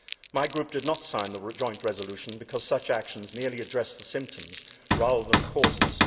My group did not sign the joint resolution, because such actions merely address the symptoms rather than the causes.